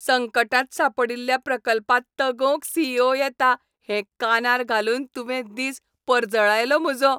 संकटांत सांपडील्ल्या प्रकल्पाक तगोवंक सी. ई. ओ. येता हें कानार घालून तुवें दीस परजळायलो म्हजो!